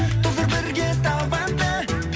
тоздыр бірге табанды